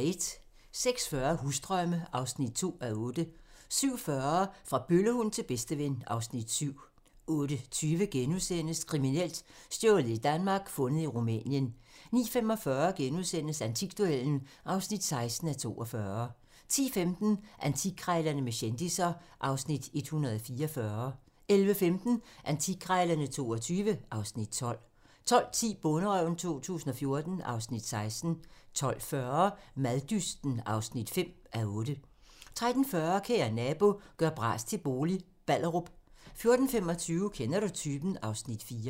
06:40: Husdrømme (2:8) 07:40: Fra bøllehund til bedsteven (Afs. 7) 08:20: Kriminelt: Stjålet i Danmark, fundet i Rumænien * 09:45: Antikduellen (16:42)* 10:15: Antikkrejlerne med kendisser (Afs. 144) 11:15: Antikkrejlerne XXII (Afs. 12) 12:10: Bonderøven 2014 (Afs. 16) 12:40: Maddysten (5:8) 13:40: Kære nabo - gør bras til bolig - Ballerup 14:25: Kender du typen? (Afs. 4)